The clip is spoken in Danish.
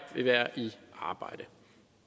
vil være i arbejde